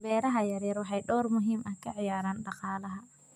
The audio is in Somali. Beeraha yaryar waxay door muhiim ah ka ciyaaraan dhaqaalaha.